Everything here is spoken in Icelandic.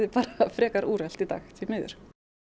frekar úrelt í dag því miður